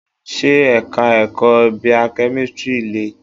Ṣé Ẹ̀ka ẹ̀kọ́ Bio-kemistri le?